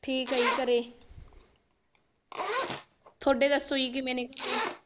ਠੀਕ ਐ ਜੀ ਘਰੇ ਤੁਹਾਡੇ ਦਸੋ ਕਿਵੇਂ ਨੇ